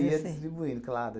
Ia distribuindo, claro.